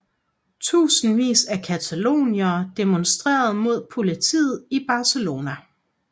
Tusindvis af cataloniere demonstrerer mod politiet i Barcelona